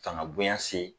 Fanga bonya se